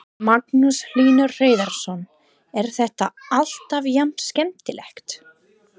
Magnús Hlynur Hreiðarsson: Er þetta alltaf jafn skemmtilegt?